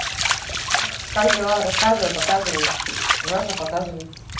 как дела рассказывай показывай желательно показывай